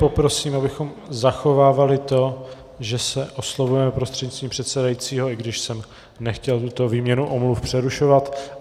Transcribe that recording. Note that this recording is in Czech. Poprosím, abychom zachovávali to, že se oslovujeme prostřednictvím předsedajícího, i když jsem nechtěl tuto výměnu omluv přerušovat.